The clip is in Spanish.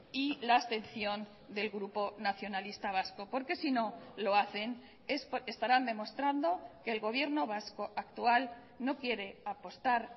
y la abstención del grupo nacionalista vasco porque si no lo hacen estarán demostrando que el gobierno vasco actual no quiere apostar